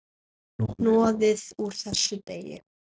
Hnoðið úr þessu deig.